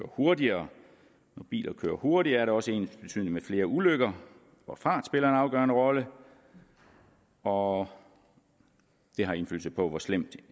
hurtigere når biler kører hurtigere er det også ensbetydende med flere ulykker hvor fart spiller en afgørende rolle og det har indflydelse på hvor slemt